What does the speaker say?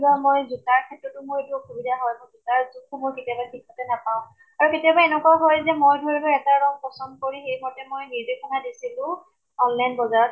কেতিয়াবা মই যোতাৰ ক্ষেত্ৰতো মোৰ এইটো অসুবিধা হয়। যোতাৰ যোখ সমূহ কেতিয়াবা ঠিক মতে নাপাওঁ। আৰু কেতিয়াবা এনেকুৱা হয় যে মই ধৰি লোৱা এটা ৰং পছন্দ সেই ভাবে মই নিৰ্দেশনা দিছিলো online বজাৰত